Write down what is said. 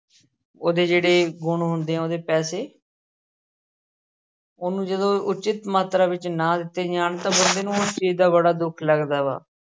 ਉਹਦੇ ਜਿਹੜੇ ਗੁਣ ਹੁੰਦੇ ਆ ਉਹਦੇ ਪੈਸੇ ਉਹਨੂੰ ਜਦੋਂ ਉੱਚਿਤ ਮਾਤਰਾ ਵਿੱਚ ਨਾ ਦਿੱਤੇ ਜਾਣ ਤਾਂ ਬੰਦੇ ਨੂੰ ਉਸ ਚੀਜ਼ ਦਾ ਬੜਾ ਦੁੱਖ ਲੱਗਦਾ ਵਾ।